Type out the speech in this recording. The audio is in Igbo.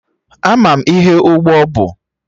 Ama m ihe ụgbọ bụ